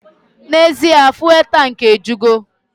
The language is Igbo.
N'ezie! Fụ́élú tankị ejupụta.